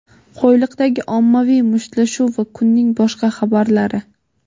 Qo‘yliqdagi ommaviy mushtlashuv va kunning boshqa xabarlari.